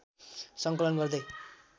सङ्कलन गर्दै